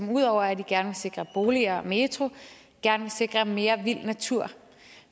ud over at i gerne vil sikre boliger og metro gerne vil sikre mere vild natur